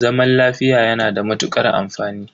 Zaman lafiya yana da matukar amfani.